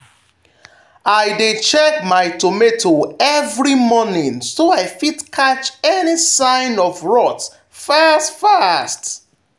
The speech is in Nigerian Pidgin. i dey check my tomato every morning so i fit catch any sign of rot fast fast.